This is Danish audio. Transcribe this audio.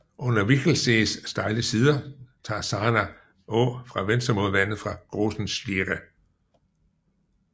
Under Wichelsees stejle sider tager Sarner Aa fra venstre mod vandet fra Grossen Schliere